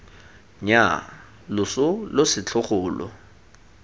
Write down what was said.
nnyaa loso lo setlhogo lo